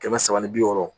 Kɛmɛ saba ni bi wɔɔrɔ